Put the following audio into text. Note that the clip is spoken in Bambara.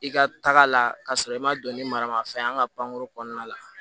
I ka taga la ka sɔrɔ i ma don ni maramafɛn ye an ka pankuru kɔnɔna la